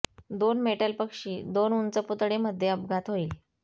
दोन मेटल पक्षी दोन उंच पुतळे मध्ये अपघात होईल